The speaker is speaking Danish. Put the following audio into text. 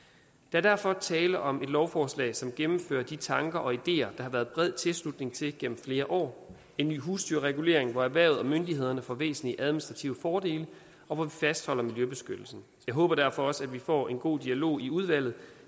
er derfor tale om et lovforslag som gennemfører de tanker og ideer der har været bred tilslutning til gennem flere år en ny husdyrregulering hvor erhvervet og myndighederne får væsentlige administrative fordele og hvor vi fastholder miljøbeskyttelsen jeg håber derfor også at vi får en god dialog i udvalget